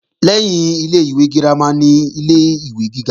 Lẹ́yìn ilé-ìwé girama ni ilé-ìwé gíga